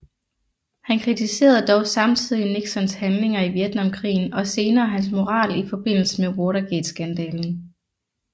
Han kritiserede dog samtidig Nixons handlinger i Vietnamkrigen og senere hans moral i forbindelse med Watergateskandalen